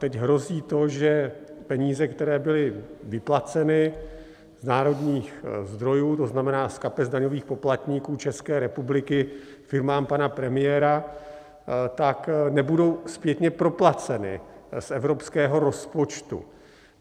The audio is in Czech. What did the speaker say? Teď hrozí to, že peníze, které byly vyplaceny z národních zdrojů, to znamená z kapes daňových poplatníků České republiky, firmám pana premiéra, tak nebudou zpětně proplaceny z evropského rozpočtu.